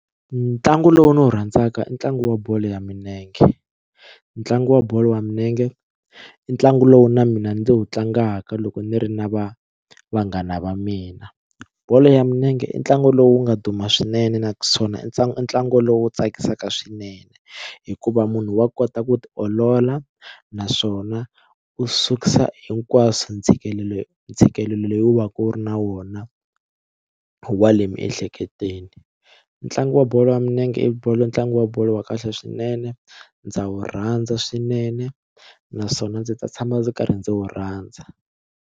Ntlangu lowu ni wu rhandzaka i ntlangu wa bolo ya milenge ntlangu wa bolo ya milenge i ntlangu lowu na mina ndzi wu tlangaka loko ni ri na va vanghana va mina bolo ya milenge i ntlangu lowu nga duma swinene naswona i ntlangu ntlangu lowu tsakisaka swinene hikuva munhu wa kota ku tiolola naswona u susa hinkwaswo ntshikelelo ntshikelelo leyi wu va wu ri na wona wa le miehleketweni ntlangu wa bolo ya milenge i bolo ntlangu wa bolo wa kahle swinene ndza wu rhandza swinene naswona ndzi ta tshama ndzi karhi ndzi wu rhandza.